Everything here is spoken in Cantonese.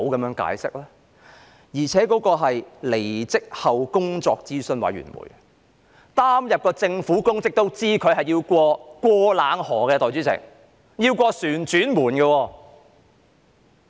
我剛才提及的工作諮詢委員會，曾經擔任政府公職的人都知道離職後需要"過冷河"，通過"旋轉門"。